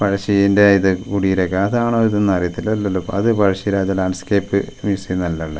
പഴശ്ശിന്റെ ഇത് കുടീരൊക്കെ അതാണോ ഇത് എന്ന് അറിയത്തില്ല അല്ലല്ലോ അത് പഴശ്ശിരാജ ലാൻഡ്സ്കേപ്പ് മ്യൂസിയം അല്ല അല്ല--